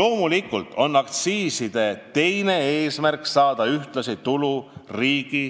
Loomulikult on aktsiiside teine eesmärk saada ühtlasi tulu riigi